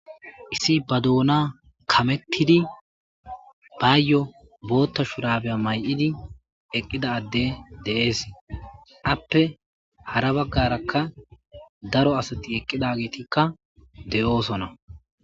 isi ba doona kamettidi baayyo bootta shurabeya may7idi eqqidadde de7ees appe hara baggarakka daro asati eqqida getikka de7oosona